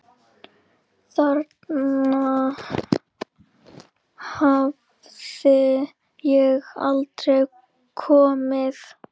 Þangað hafði ég aldrei komið.